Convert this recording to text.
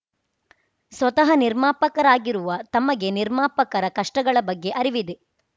ಸ್ವತಃ ನಿರ್ಮಾಪಕರಾಗಿರುವ ತಮಗೆ ನಿರ್ಮಾಪಕರ ಕಷ್ಟಗಳ ಬಗ್ಗೆ ಅರಿವಿದೆ